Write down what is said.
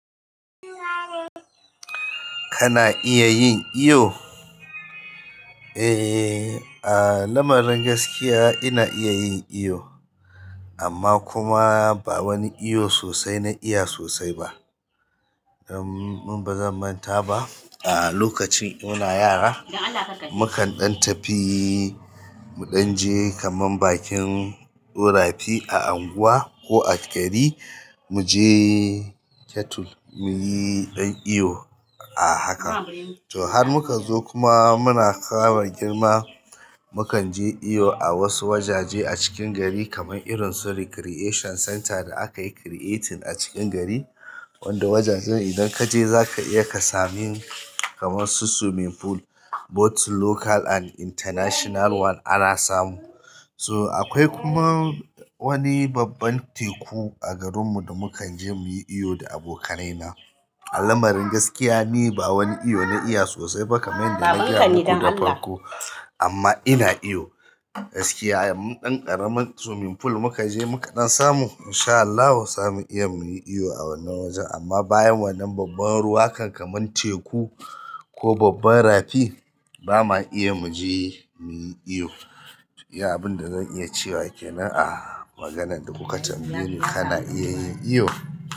Kana iya yin iyo? Eh, a lamarin gaskiya ina iya yin iyo amma kuma ba wani iyo sosai na iya sosai ba. Min bazan manta ba, a lokacin muna yara, mukan ɗan tafi, mu ɗan je kaman bakin rafi a unguwa ko a gari, mu je ketul, muyi ɗan iyo a haka. To har muka zo kuma muna ƙara girma, mu kan je iyo a wasu wajaje a cikin gari kaman irin su Recreation Center da akayi creating a cikin gari, wanda wajajen idan kaje zaka iya ka samin kaman su swimming pool, both local and international one ana samu. So akwai kuma wani babban teku a garinmu da mukan je muyi iyo da abokanai na. A lamarin gaskiya ni ba wani iyo na iya sosai ba kamar yadda nagaya muku da farko, amma ina iyo. Gaskiya, in ɗan ƙaramin swimming pool muka je muka ɗan samu in sha Allahu zamu iya muyi iyo a wannan wajen amma bayan wannan babban ruwa kan kaman teku ko babban rafi, ba ma iya mu je muyi iyo. To iya abin da zan iya cewa kenan a maganan da kuka tambaye ni kana iya yin iyo.